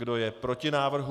Kdo je proti návrhu?